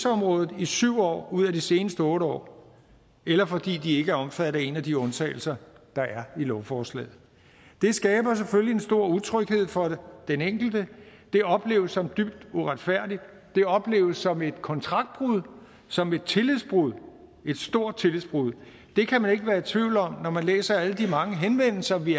området i syv år ud af de seneste otte år eller fordi de ikke er omfattet af en af de undtagelser der er i lovforslaget det skaber selvfølgelig en stor utryghed for den enkelte det opleves som dybt uretfærdigt det opleves som et kontraktbrud som et tillidsbrud et stort tillidsbrud det kan man ikke være i tvivl om når man læser alle de mange henvendelser vi